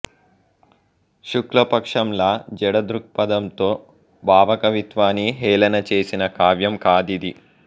శుక్లపక్షంలా జడ దృక్పథంతో భావకవిత్వాన్ని హేళన చేసిన కావ్యం కాదిది